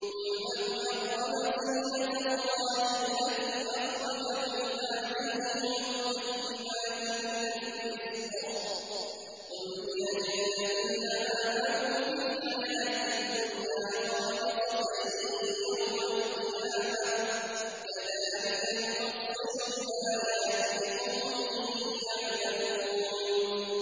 قُلْ مَنْ حَرَّمَ زِينَةَ اللَّهِ الَّتِي أَخْرَجَ لِعِبَادِهِ وَالطَّيِّبَاتِ مِنَ الرِّزْقِ ۚ قُلْ هِيَ لِلَّذِينَ آمَنُوا فِي الْحَيَاةِ الدُّنْيَا خَالِصَةً يَوْمَ الْقِيَامَةِ ۗ كَذَٰلِكَ نُفَصِّلُ الْآيَاتِ لِقَوْمٍ يَعْلَمُونَ